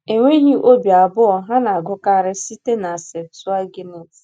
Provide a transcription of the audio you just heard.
Enweghị obi abụọ, ha na-agụkarị site na Septụaginti.